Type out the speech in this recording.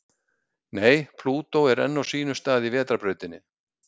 Nei, Plútó er enn á sínum stað í Vetrarbrautinni.